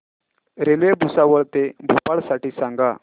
railway Bhusawal ते भोपाळ साठी सांगा